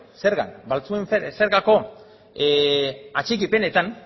zergako atxikipenetan